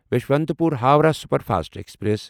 Yesvantpur Howrah superfast express